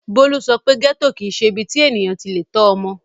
Bólú sọ pé gẹ́tò kì í ṣe ibi tí ènìyàn ti le tọ́ ọmọ.